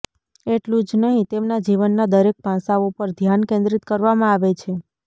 એટલું જ નહીં તેમના જીવનના દરેક પાસાઓ પર ધ્યાન કેન્દ્રિત કરવામાં આવે છે